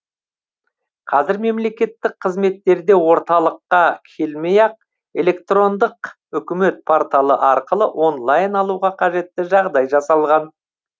қазір мемлекеттік қызметтерде орталыққа келмей ақ электрондық үкімет порталы арқылы онлайн алуға қажетті жағдай жасалған